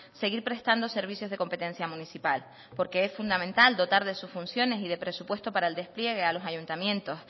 seguir prestando servicios de competencia municipal porque es fundamental dotar de sus funciones y presupuesto para el despliegue a los ayuntamientos